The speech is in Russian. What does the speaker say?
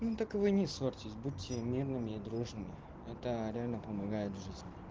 ну так вы и не ссорьтесь будьте мирными и дружными это реально помогает в жизни